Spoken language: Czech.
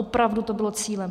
Opravdu to bylo cílem.